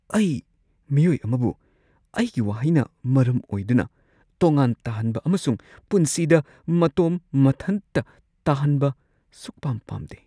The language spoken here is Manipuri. ꯑꯩ ꯃꯤꯑꯣꯏ ꯑꯃꯕꯨ ꯑꯩꯒꯤ ꯋꯥꯍꯩꯅ ꯃꯔꯝ ꯑꯣꯏꯗꯨꯅ ꯇꯣꯉꯥꯟ ꯇꯥꯍꯟꯕ ꯑꯃꯁꯨꯡ ꯄꯨꯟꯁꯤꯗ ꯃꯇꯣꯝ ꯃꯊꯟꯇ ꯇꯥꯍꯟꯕ ꯁꯨꯛꯄꯥꯝ ꯄꯥꯝꯗꯦ ꯫